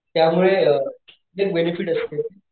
त्यामुळे बेनेफिट असते,